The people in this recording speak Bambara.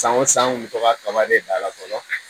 San o san an kun bɛ to ka kaba de da la fɔlɔ